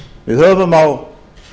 við höfum á